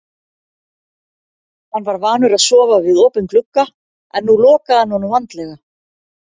Hann var vanur að sofa við opinn glugga en nú lokaði hann honum vandlega.